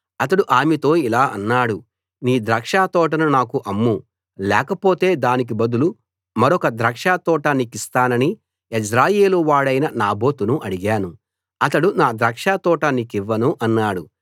అతడు ఆమెతో ఇలా అన్నాడు నీ ద్రాక్షతోటను నాకు అమ్ము లేకపోతే దానికి బదులు మరొక ద్రాక్షతోట నీకిస్తానని యెజ్రెయేలు వాడైన నాబోతును అడిగాను అతడు నా ద్రాక్షతోట నీకివ్వను అన్నాడు